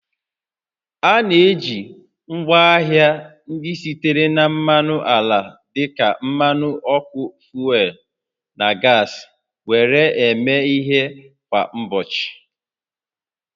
A na-eji ngwaahịa ndị sitere na mmanụ ala dịka mmanụ ọkụ fuel na gas were na-eme ihe kwa ụbọchị